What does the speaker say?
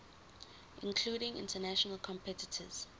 including international competitors